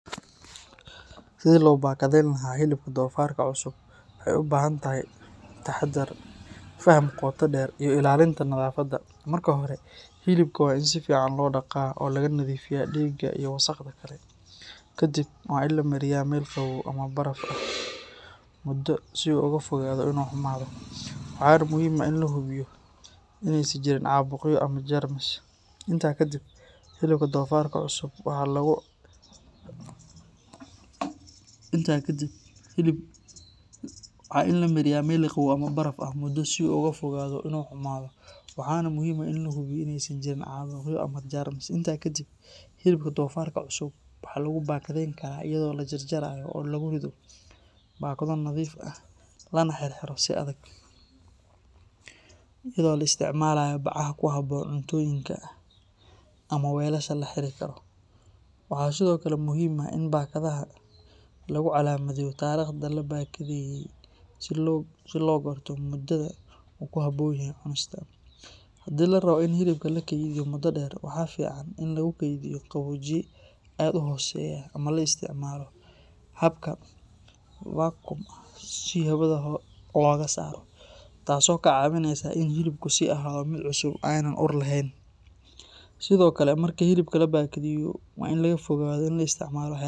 Sidii loo bakadeyn lahaa hilibka dofarka cusub waxay u baahan tahay taxaddar, faham qoto dheer, iyo ilaalinta nadaafadda. Marka hore, hilibka waa in si fiican loo dhaqaa oo laga nadiifiyaa dhiigga iyo wasakhda kale. Kadib, waa in la mariyaa meel qabow ama baraf ah muddo si uu uga fogaado inuu xumaado, waxaana muhiim ah in la hubiyo in aysan jirin caabuqyo ama jeermis. Intaa kadib, hilibka dofarka cusub waxaa lagu bakadeyn karaa iyadoo la jarjaro oo lagu rido baakado nadiif ah, lana xirxiro si adag, iyadoo la isticmaalayo bacaha ku habboon cuntooyinka ama weelasha la xiri karo. Waxaa sidoo kale muhiim ah in baakadaha lagu calaamadeeyo taariikhda la baakadeeyay si loo garto muddada uu ku habboon yahay cunista. Haddii la rabo in hilibka la kaydiyo muddo dheer, waxaa fiican in lagu kaydiyo qaboojiye aad u hooseeya ama la isticmaalo habka vacuum ah si hawada looga saaro, taasoo kaa caawinaysa in hilibku sii ahaado mid cusub oo aan ur yeelan. Sidoo kale, marka hilibka la baakadeeyo, waa in laga fogaadaa in la isticmaalo waxyaaba.